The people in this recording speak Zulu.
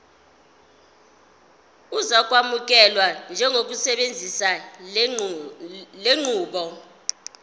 uzokwamukelwa njengosebenzisa lenqubo